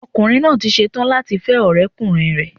Ọkùnrin náà tí setán láti fẹ́ ọ̀rẹ́ ọkùnrin rẹ̀